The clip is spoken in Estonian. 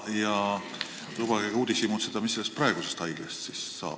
Ja lubage ka uudishimutseda, mis siis Viljandis praegusest haiglast saab?